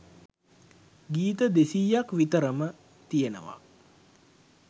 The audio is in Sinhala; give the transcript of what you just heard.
ගීත දෙසීයක් විතරම තියෙනවා.